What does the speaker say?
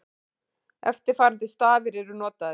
Eftirfarandi stafir eru notaðir: